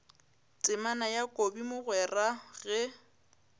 temana ya kobi mogwera ge